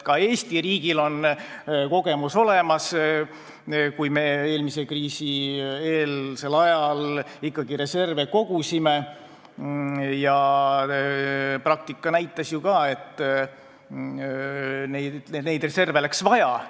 Ka Eesti riigil on kogemus olemas: me ikkagi kogusime reserve eelmise kriisi eelsel ajal ja praktika näitas ju, et neid reserve läks vaja.